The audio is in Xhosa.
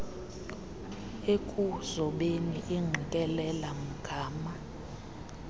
ekuzobeni ingqikelela mgama